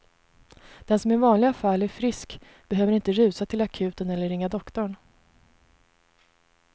Den som i vanliga fall är frisk behöver inte rusa till akuten eller ringa doktorn.